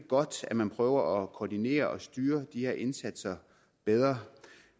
godt at man prøver at koordinere og styre de her indsatser bedre